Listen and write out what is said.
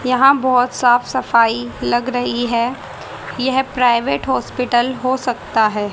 यहां बहोत साफ सफाई लग रही है यह प्राइवेट हॉस्पिटल हो सकता है।